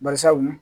Barisabu